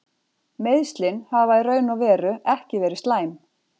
Meiðslin hafa í raun og veru ekki verið slæm.